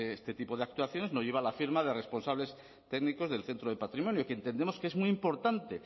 este tipo de actuaciones no lleva la firma de responsables técnicos del centro de patrimonio y que entendemos que es muy importante